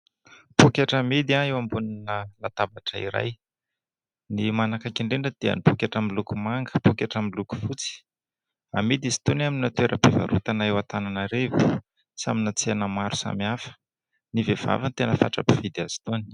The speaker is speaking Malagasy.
Pôketra amidy eo ambonina latabatra iray. Ny manakaiky indrindra dia pôketra miloko manga, pôketra miloko fotsy. Amidy izy itony amina toeram-pivarotana eo Antananarivo sy amina tsena maro. Ny vehivavy no tena fatra-pividy azy itony.